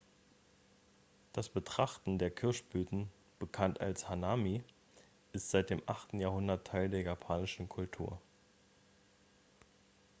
das betrachten der kirschblüten bekannt als hanami ist seit dem 8. jahrhundert teil der japanischen kultur